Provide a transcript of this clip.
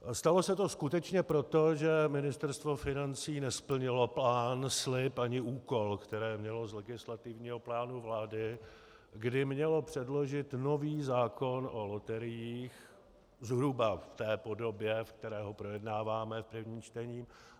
Stalo se to skutečně proto, že Ministerstvo financí nesplnilo plán, slib ani úkol, které mělo z legislativního plánu vlády, kdy mělo předložit nový zákon o loteriích zhruba v té podobě, ve které ho projednáváme v prvním čtení.